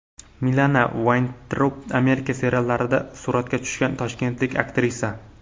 Milana Vayntrub Amerika seriallarida suratga tushgan toshkentlik aktrisa.